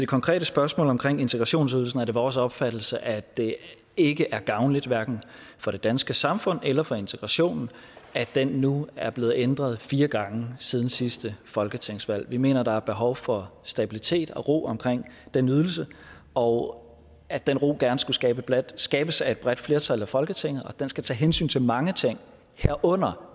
konkrete spørgsmål omkring integrationsydelsen er det vores opfattelse at det ikke er gavnligt for det danske samfund eller for integrationen at den nu er blevet ændret fire gange siden sidste folketingsvalg vi mener at der er behov for stabilitet og ro omkring den ydelse og at den ro gerne skulle skabes skabes at et bredt flertal i folketinget og den skal tage hensyn til mange ting herunder